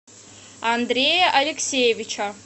андрея алексеевича